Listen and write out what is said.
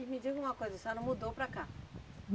E me diga uma coisa, a senhora mudou para cá?